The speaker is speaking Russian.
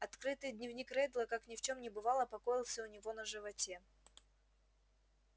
открытый дневник реддла как ни в чем не бывало покоился у него на животе